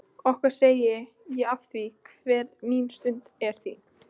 Okkar segi ég afþvíað hver mín stund er þín.